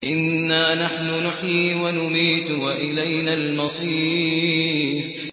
إِنَّا نَحْنُ نُحْيِي وَنُمِيتُ وَإِلَيْنَا الْمَصِيرُ